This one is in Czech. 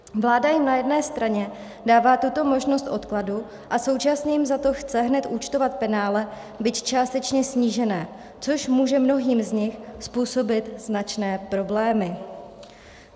Vláda jim na jedné straně dává tuto možnost odkladu a současně jim za to chce hned účtovat penále, byť částečně snížené, což může mnohým z nich způsobit značné problémy.